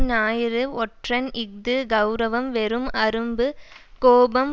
ஞாயிறு ஒற்றன் இஃது கெளரவம் வெறும் அரும்பு கோபம்